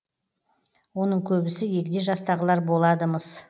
оның көбісі егде жастағылар болады мыс